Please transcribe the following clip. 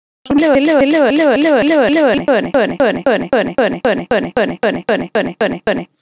Vilhjálmur Hjálmarsson, flokksbróðir Þórarins, kvaðst einnig andvígur tillögunni.